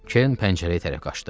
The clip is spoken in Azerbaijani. Kerin pəncərəyə tərəf qaçdı.